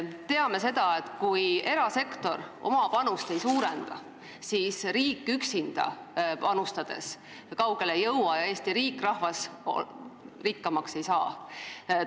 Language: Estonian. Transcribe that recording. Me teame, et kui erasektor oma panust ei suurenda, siis riik üksinda panustades kaugele ei jõua ning Eesti riik ja rahvas rikkamaks ei saa.